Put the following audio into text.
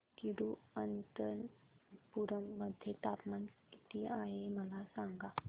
तिरूअनंतपुरम मध्ये तापमान किती आहे मला सांगा